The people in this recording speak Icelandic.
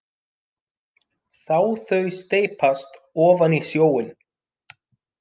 Sá þau steypast ofan í sjóinn.